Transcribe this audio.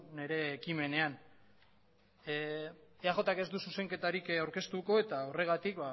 nire ekimenean eajk ez du zuzenketarik aurkeztuko eta horregatik